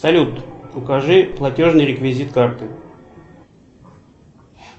салют укажи платежный реквизит карты